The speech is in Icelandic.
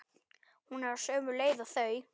Hún er á sömu leið og þau.